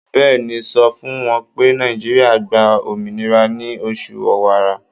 Bẹ́ẹ̀ni, sọ fún wọn pé Nàìjíríà gba òmìnira ní oṣù Ọ̀wàrà.